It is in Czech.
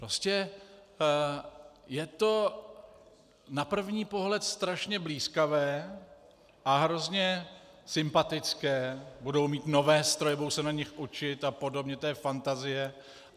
Prostě je to na první pohled strašně blýskavé a hrozně sympatické: budou mít nové stroje, budou se na nich učit a podobně, to je fantazie.